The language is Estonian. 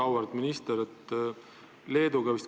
Väga auväärt minister!